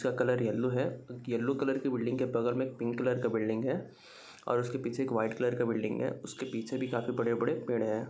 इसका colour yellow है और येलो कलर की बिल्डिंग के बगल में पिंक कलर का बिल्डिंग है और उसके पीछे एक वाइट कलर का बिल्डिंग है उसके पीछे भी काफी बड़े-बड़े पेड़ हैं।